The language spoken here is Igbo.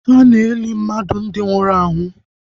Ana eli mmadụ ndi nwụrụ anwụ